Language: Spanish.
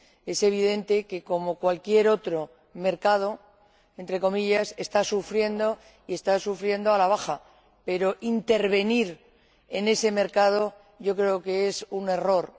Es evidente que, como cualquier otro mercado entre comillas está sufriendo y está sufriendo a la baja, pero intervenir en ese mercado creo que es un error.